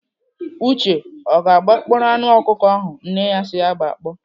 Uche o gbakpọọrọ anụ ọkụkọ ahụ nne si ya gbakpọ?